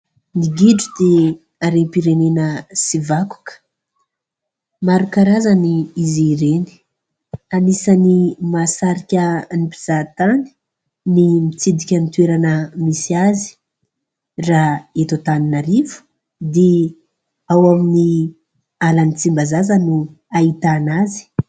Ny gidro dia arem-pirenena sy vakoka. Maro karazany izy ireny anisany mahasarika ny mpizaha-tany ny mitsidika ny toerana misy azy. Raha eto An-taninarivo dia ao amin'ny ala'ny Tsimbazaza no hahitana azy.